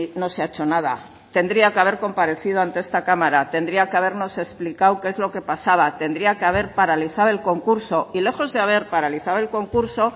no se ha hecho nada tendría que haber comparecido ante esta cámara tendría que habernos explicado qué es lo que pasaba tendría que haber paralizado el concurso y lejos de haber paralizado el concurso